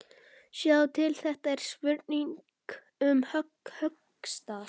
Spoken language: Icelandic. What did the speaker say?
Sjáðu til, þetta er spurning um höggstað.